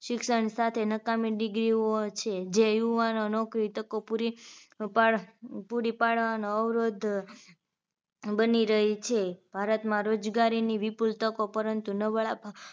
શિક્ષણ સાથે નકામી degree ઓ હોય છે જે યુવાનો નોકરી તકો પૂરી પાડ પાડવાનો અવરોધ બની રહી છે ભારતમાં રોજગારીની વિપુલ તકો પરંતુ નવરા